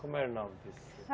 Como era o nome desse